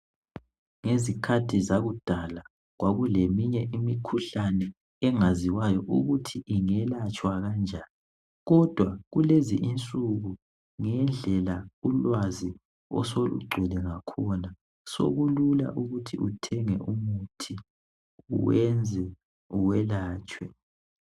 Izikhathi zakudala kwakuleminye imikhuhlane engaziwayo ukuthi ingelatshwa kanjani. Kodwa kulezi insuku ngendlela ulwazi oselugcwele ngakhona sekulula ukuthi uthenge umuthi wenze uyelatshwe.